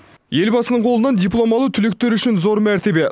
елбасының қолынан диплом алу түлектер үшін зор мәртебе